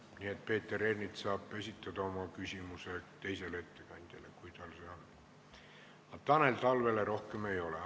Nii et Peeter Ernits saab soovi korral esitada oma küsimuse teisele ettekandjale, aga Tanel Talvele rohkem mitte.